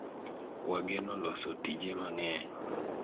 wageno loso tije mang'eny